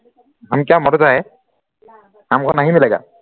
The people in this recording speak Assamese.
हाम क्य़ा मर रहा है हामकौ नही मिलेगा